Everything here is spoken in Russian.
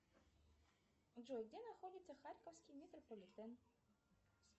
джой где находится харьковский метрополитен